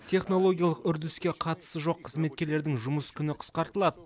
технологиялық үрдіске қатысы жоқ қызметкерлердің жұмыс күні қысқартылады